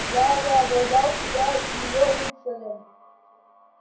я воображал себя её рыцарем